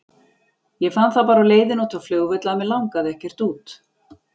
Ég fann það bara á leiðinni út á flugvöll að mig langaði ekkert út.